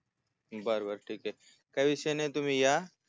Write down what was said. बर बर ठिकय काय विषय नाही तुम्ही या